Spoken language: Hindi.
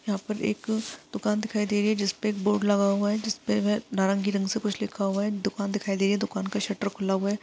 यहाँ पर एक दुकान दिखाई दे रही है जिसपे एक बोर्ड लगा हुआ है जिस पर वह नारंगी रंग से कुछ लिखा हुआ है दुकान दिखाई दे रही है दुकान का शटर खुला हुआ है।